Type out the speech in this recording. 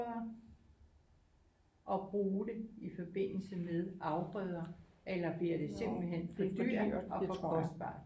Og bruge det i forbindelse med afgrøder eller bliver det simpelthen for dyrt og for kostbart